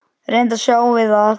Reyndar sjáum við að